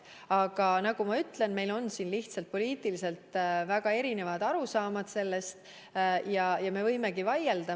Aga nagu ma ütlesin, meil on lihtsalt poliitiliselt väga erinevad arusaamad ja me võimegi selle üle vaielda.